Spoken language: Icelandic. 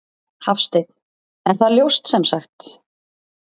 Hafsteinn: Er það ljóst sem sagt?